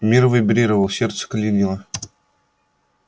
мир вибрировал сердце клинило